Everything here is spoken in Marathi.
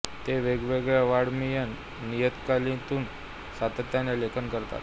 ते वेगवेगळ्या वाङ् मयीन नियतकालिकातून सातत्याने लेखन करतात